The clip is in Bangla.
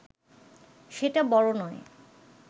সেটা বড় নয়